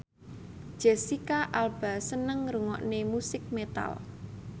Jesicca Alba seneng ngrungokne musik metal